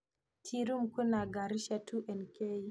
Tea Room kwĩna ngari cia 2nk.